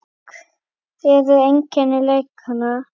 En hver eru einkenni lekanda?